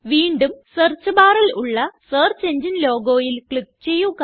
വീണ്ടും സെർച്ച് barൽ ഉള്ള സെർച്ച് എങ്ങിനെ logoയില് ക്ലിക്ക് ചെയ്യുക